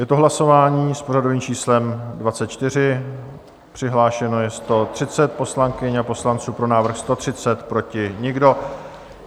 Je to hlasování s pořadovým číslem 24, přihlášeno je 130 poslankyň a poslanců, pro návrh 130, proti nikdo.